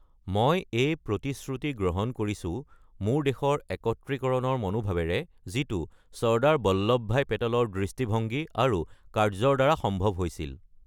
"মই এই প্ৰতিশ্ৰুতি গ্ৰহণ কৰিছো মোৰ দেশৰ একত্ৰীকৰণৰ মনোভাৱেৰে যিটো চৰ্দাৰ বল্লভ ভাই পেটেলৰ দৃষ্টিভংগী আৰু কাৰ্য্যৰ দ্বাৰা সম্ভৱ হৈছিল।"